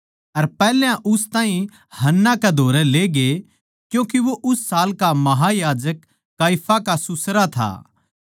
अर पैहल्या उस ताहीं हन्ना कै धोरै ले गए क्यूँके वो उस साल का महायाजक काइफा का सुसरा था